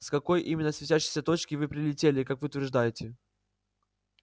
с какой именно светящейся точки вы прилетели как вы утверждаете